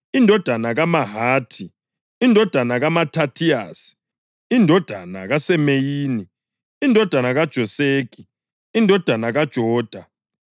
indodana kaMahathi, indodana kaMathathiyasi, indodana kaSemeyini, indodana kaJoseki, indodana kaJoda,